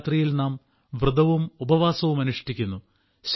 നവരാത്രിയിൽ നാം വ്രതവും ഉപവാസവും അനുഷ്ഠിക്കുന്നു